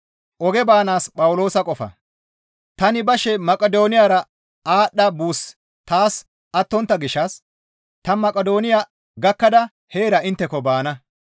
Tani bashe Maqidooniyara aadhdha buussi taas attontta gishshas ta Maqidooniya gakkada heera intteko baana.